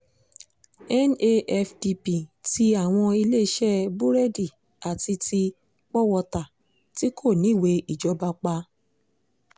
nafdp tí àwọn iléeṣẹ́ búrẹ́ẹ̀dì àti ti pọ̀-wọ́ta tí kò níwèé ìjọba pa